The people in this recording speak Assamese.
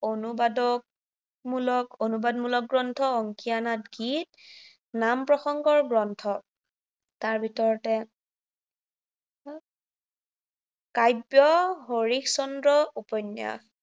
অনুবাদক মূলক অনুবাদমূলক গ্ৰন্থ, অঙ্কীয়া নাট গীত, নাম-প্ৰসঙ্গৰ গ্ৰন্থ, তাৰ ভিতৰতে কাব্য হৰিশ্চন্দ্ৰ উপন্য়াস